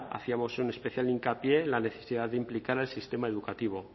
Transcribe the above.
hacíamos un especial hincapié en la necesidad de implicar al sistema educativo